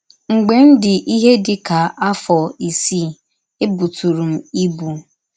“ Mgbe m dị ihe dị ka afọ isii, ebụtụrụ m ibụ.